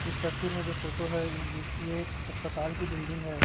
इस तस्वीर में जो फोटो है ये इस ये एक हस्पताल की बिल्डिंग है।